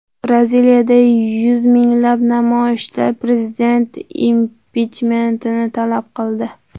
Braziliyada yuz minglab namoyishchilar prezident impichmentini talab qildi.